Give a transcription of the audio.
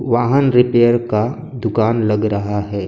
वाहन रिपेयर का दुकान लग रहा है।